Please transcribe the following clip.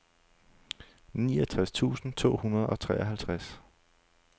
niogtres tusind to hundrede og treoghalvtreds